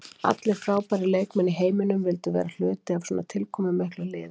Allir frábærir leikmenn í heiminum vildu vera hluti af svona tilkomumiklu liði.